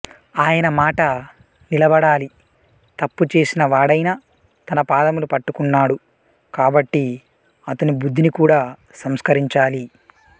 ఆయన మాట నిలబడాలి తప్పు చేసిన వాడయినా తన పాదములు పట్టుకున్నాడు కాబట్టి అతని బుద్ధిని కూడా సంస్కరించాలి